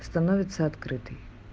становится открытый